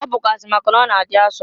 Ọ bụkwụazị maka na ọ na-adị asọ.